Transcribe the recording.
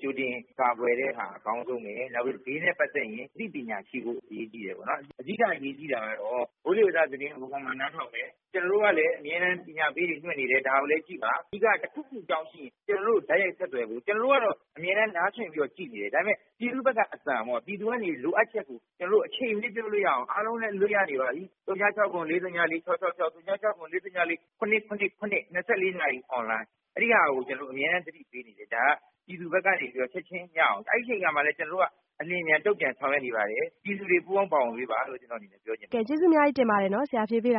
ကြိုတင်ကာကွယ်တဲ့ဟာ အကောင်းဆုံးပဲ နောက်ပြီးတော့ သဘာဝဘေးနဲ့ ပတ်သက်ရင် အသိပညာရှိဖို့ အရေးကြီးတယ်။ အဓိကအရေးကြီးတာကတော့ မိုးလေဝသသတင်းကို မှန်မှန်နားထောင်မယ် ကျနေ်ာတို့ကလည်း အမြဲတမ်းပညာပေးတွေလွှင့်နေတယ် ဒါကိုလည်းကြည့်ပါ။ အဓိက တခုခုအကြောင်းရှိရင် ကျနော်တို့ကို တိုက်ရိုက်ဆက်သွယ်ဖို့ ကျနော်တို့ကတော့ အမြဲတမ်းနားစွင့်ပြီးတော့ ကြည့်နေတယ် ဒါပေမယ့်ပြည်သူ့ဘက်ကအသံပေါ့နော့် ၊ ပြည်သူကနေလိုအပ်ချက်ကို အချိန်မရွေးပြောလို့ရအောင်အားလုံးလည်းအလွတ်ရနေပါပြီ ၀၆၇-၄၀၄-၆၆၆၊ ၀၆၇-၄၀၄-၇၇၇ ဒါက ၂၄ နာရီ online အဲဒီဟာကို ကျနော်တို့ အမြဲသတိပေးနေတယ် အဲဒါကို ပြည်သူဘက်ကနေချက်ချင်းရအောင် အဲဒီအချိန်မှာလည်း ကျနော်တို့က အလျှင်အမြန်တုံ့ပြန် ဆောင်ရွက်နေပါတယ်။ ပြည်သူတွေပူးပေါင်းပါဝင်ပေးပါလို့ ကျနော့်အနေနဲ့ ပြောချင်ပါတယ်။ ကျေးဇူးအများကြီးတင်ပါတယ် ဆရာဖြေပေးတာ